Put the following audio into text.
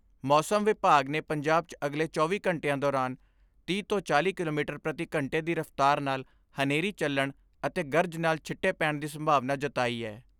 ਮੌਸਮ ਵਿਭਾਗ ਨੇ ਪੰਜਾਬ 'ਚ ਅਗਲੇ ਚੌਵੀ ਘੰਟਿਆਂ ਦੌਰਾਨ ਤੀਹ ਤੋਂ ਚਾਲ੍ਹੀ ਕਿਲੋਮੀਟਰ ਪ੍ਰਤੀ ਘੰਟੇ ਦੀ ਰਫ਼ਤਾਰ ਨਾਲ ਹਨੇਰੀ ਚੱਲਣ ਅਤੇ ਗਰਜ ਨਾਲ ਛਿੱਟੇ ਪੈਣ ਦੀ ਸੰਭਵਨਾ ਜਤਾਈ ਐ।